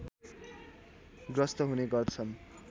ग्रस्त हुने गर्छन्